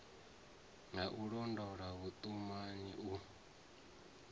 ha u londota vhuṱumani u